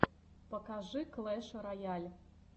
покажи клэш рояль